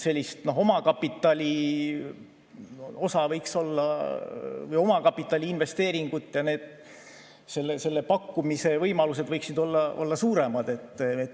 Omakapitali investeeringud ja nende pakkumise võimalused võiksid olla suuremad.